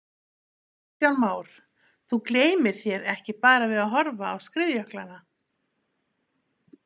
Kristján Már: Þú gleymir þér ekki bara við að horfa á skriðjöklana?